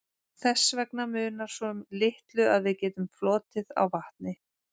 Þess vegna munar svo litlu að við getum flotið á vatni.